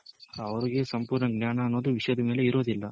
ಆವೃಗೆ ಸಂಪೂರ್ಣ ಜ್ಞಾನ ಅನ್ನೋದು ವಿಷಯದ ಮೇಲೆ ಇರೋದಿಲ್ಲ.